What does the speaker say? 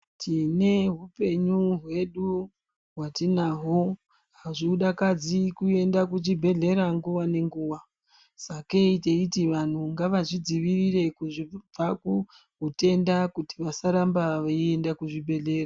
Tine hupenyu hwedu hwatinahwo. Hazvidakadzi kuenda kuchibhedhlera nguwa nenguwa, sakei teiti vantu ngavazvidziirire kubva kuzvitenda kuti vasaramba veienda kuzvibhedhlera.